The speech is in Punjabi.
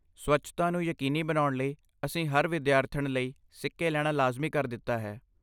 ਸਵੱਛਤਾ ਨੂੰ ਯਕੀਨੀ ਬਣਾਉਣ ਲਈ, ਅਸੀਂ ਹਰ ਵਿਦਿਆਰਥਣ ਲਈ ਸਿੱਕੇ ਲੈਣਾ ਲਾਜ਼ਮੀ ਕਰ ਦਿੱਤਾ ਹੈ।